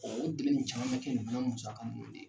O nin caman mɛ kɛ musaka ninnu ma de .